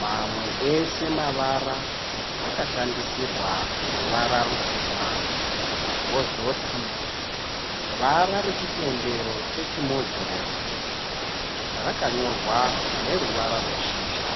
Mamwe ese mavara akashandisirwa ruvara rutema kozoti vara rechitendero chechimoziremu rakanyorwa neruvara rweshizha.